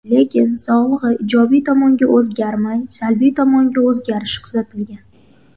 Lekin, sog‘lig‘i ijobiy tomonga o‘zgarmay, salbiy tomonga o‘zgarishi kuzatilgan.